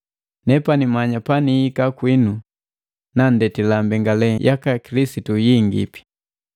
Nepani manya panihika kwinu nandetila mbengale yaka Kilisitu yingipi.